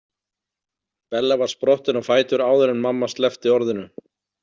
Bella var sprottin á fætur áður en mamma sleppti orðinu.